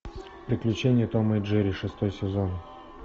приключения тома и джерри шестой сезон